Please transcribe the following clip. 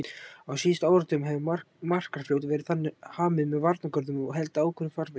Á síðustu áratugum hefur Markarfljót verið hamið með varnargörðum og haldið í ákveðnum farvegi.